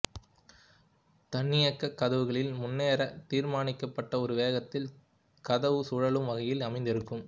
தன்னியக்கக் கதவுகளில் முன்னரே தீர்மானிக்கப்பட்ட ஒரு வேகத்தில் கதவு சுழலும் வகையில் அமைந்திருக்கும்